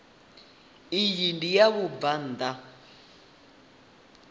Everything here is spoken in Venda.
iyi ndi ya vhabvann ḓa